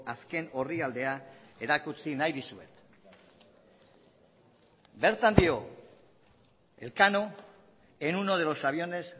azken orrialdea erakutsi nahi dizuet bertan dio elcano en uno de los aviones